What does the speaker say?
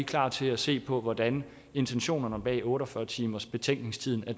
klar til at se på hvordan intentionerne bag otte og fyrre timersbetænkningstiden